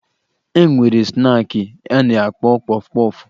E nwere snaakị a na-akpọ kpọfụ kpọfụ